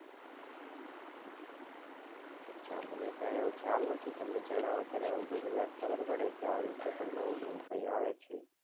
અચ્છા મને કાય આવો ખ્યાલ નથી તમે જણાવો ત્યારે બધી વાત ખબર પડે કે આવી રીતે નવું નવું કાક આવે છે